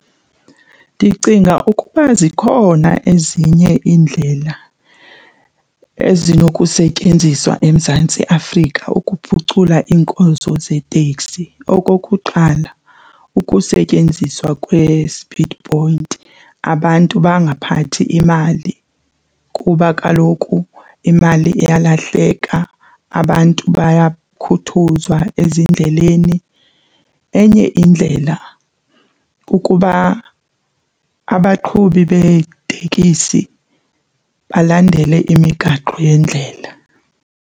Ndicinga ukuba zikhona ezinye iindlela ezinokusetyenziswa eMzantsi Afrika ukuphucula iinkonzo zeeteksi. Okokuqala ukusetyenziswa kwe-speed point abantu bangaphathi imali kuba kaloku imali iyalahleka, abantu bayakhuthuzwa ezindleleni. Enye indlela kukuba abaqhubi beetekisi balandele imigaqo yendlela.